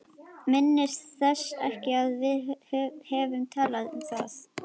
Minntist þess ekki að við hefðum talað um það.